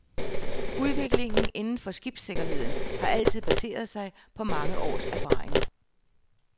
Udviklingen inden for skibssikkerheden har altid baseret sig på mange års erfaringer.